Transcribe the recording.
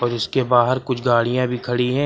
जिसके बाहर कुछ गाड़ियां भी खड़ी हैं।